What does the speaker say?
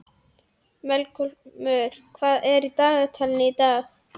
Melkólmur, hvað er í dagatalinu í dag?